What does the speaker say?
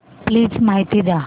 please माहिती द्या